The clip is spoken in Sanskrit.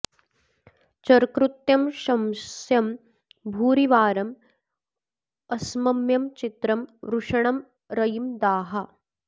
चर्कृत्यं शंस्यं भूरिवारं अस्मम्यं चित्रं वृषणं रयिं दाः